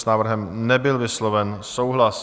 S návrhem nebyl vysloven souhlas.